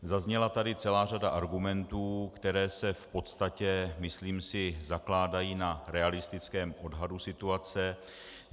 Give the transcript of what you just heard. Zazněla tady celá řada argumentů, které se v podstatě, myslím si, zakládají na realistickém odhadu situace.